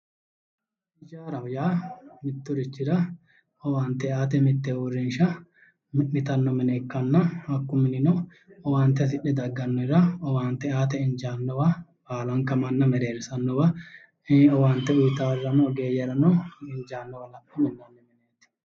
Hijaaraho yaa mitturichira owaante aate mitte uurrinsha mi'nitanno mine ikkanna, kunino owaante hasidhe daggannorira owaante aate injaannowa baalanka manna mereerssannowa owaante uuyitawo ogeeyyera injaannowa la'ne minnoonni mineeti.